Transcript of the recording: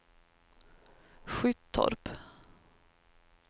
Skyttorp